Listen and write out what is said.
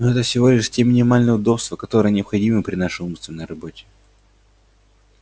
но это всего лишь те минимальные удобства которые необходимы при нашей умственной работе